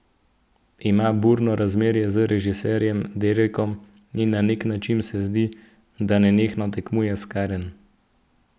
Ima burno razmerje z režiserjem Derekom in na nek način se zdi, da nenehno tekmuje s Karen.